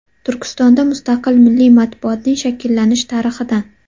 Turkistonda mustaqil milliy matbuotning shakllanish tarixidan.